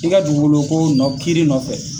I ka dugukolo ko nɔ kiri nɔfɛ.